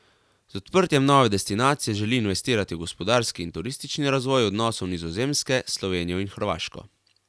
Z odprtjem nove destinacije želi investirati v gospodarski in turistični razvoj odnosov Nizozemske s Slovenijo in Hrvaško.